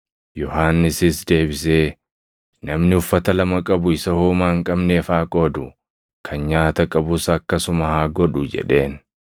Yohannisis deebisee, “Namni uffata lama qabu isa homaa hin qabneef haa qoodu; kan nyaata qabus akkasuma haa godhu” jedheen.